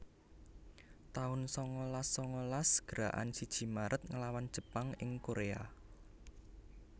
taun sangalas sangalas Gerakan siji Maret nglawan Jepang ing Korea